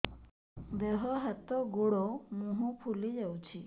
ଦେହ ହାତ ଗୋଡୋ ମୁହଁ ଫୁଲି ଯାଉଛି